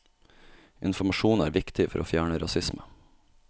Informasjon er viktig for å fjerne rasisme.